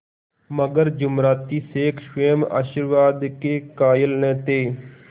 मगर जुमराती शेख स्वयं आशीर्वाद के कायल न थे